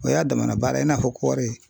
O y'a damana baara ye i n'a fɔ kɔɔri.